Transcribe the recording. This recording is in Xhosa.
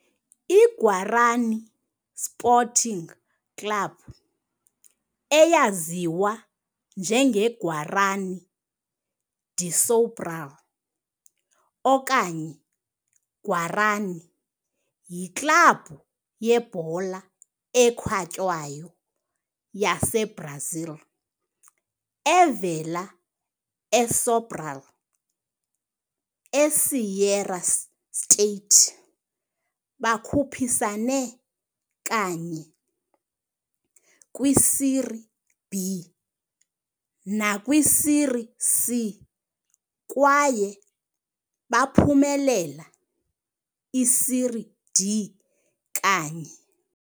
IGuarany Sporting Club, eyaziwa njenge Guarany de Sobral okanye njenge Guarany, yiklabhu yebhola ekhatywayo yaseBrazil evela eSobral, eCeará state. Bakhuphisane kanye kwi-Série B nakwi-Série C, kwaye baphumelela i-Série D kanye.